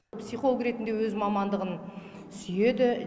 психолог ретінде өз мамандығын сүйеді